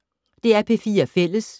DR P4 Fælles